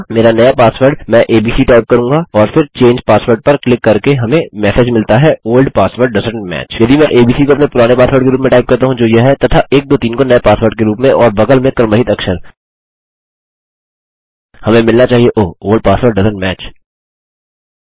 मेरा नया पासवर्ड मैं एबीसी टाइप करूँगा और फिर चंगे पासवर्ड पर क्लिक करके हमें मेसेज मिलता है ओल्ड पासवर्ड डोएसेंट match यदि मैं एबीसी को अपने पुराने पासवर्ड के रूप में टाइप करता हूँ जो यह है तथा 123 को नये पासवर्ड के रूप में और और बगल में क्रम रहित अक्षर हमें मिलना चाहिए ओह ओल्ड पासवर्ड डोएसेंट match